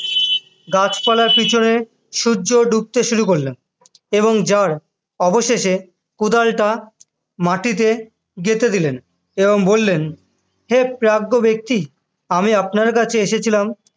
গাছপালার পিছনে সূর্য ডুবতে শুরু করলেন এবং জার অবশেষে কোদালটা মাটিতে গেঁথে দিলেন এবং বললেন হে প্রাজ্ঞ ব্যক্তি আমি আপনার কাছে এসেছিলাম